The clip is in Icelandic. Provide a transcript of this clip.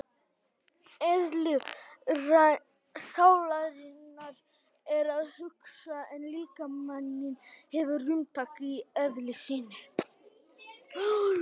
Eðli sálarinnar er að hugsa en líkaminn hefur rúmtak í eðli sínu.